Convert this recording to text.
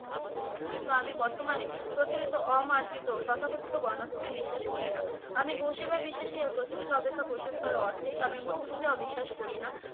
কিন্তু আমি বর্তমানে প্রচলিত অমার্জিত তথাকথিত বর্ণাশ্রমে বিশ্বাস করি না। আমি গো-সেবায় বিশ্বাসী আর প্রচলিত অপেক্ষা অর্থে আমি মূর্তি পূজা অবিশ্বাস করি না।